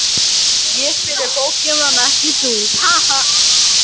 Gerast einhverjar breytingar á því fyrir vorið?